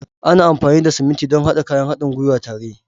Ana amfani da siminti don haɗa kayan haɗin gwiwa tare.